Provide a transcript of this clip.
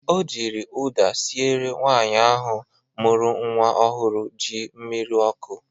O jiri ụda sịere nwaanyị ahụ mụrụ nnwa ọhụrụ ji mmiri ọkụ